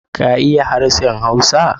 ka iya harshen Hausa.